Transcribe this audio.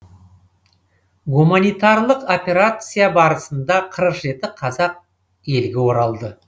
гуманитарлық операция барысында қырық жеті қазақ елге оралды